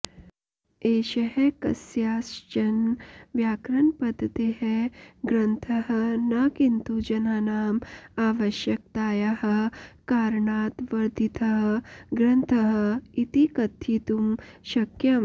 एषः कस्याश्चन व्यकरणपद्धतेः ग्रन्थः न किन्तु जनानाम् आवश्यकतायाः कारणात् वर्धितः ग्रन्थः इति कथयितुं शक्यम्